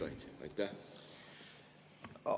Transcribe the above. Aeg on nüüd küll täis!